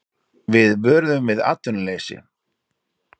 Við vöruðum við atvinnuleysi